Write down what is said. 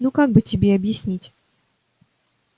ну как бы тебе объяснить